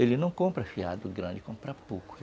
Ele não compra fiado grande, compra pouco.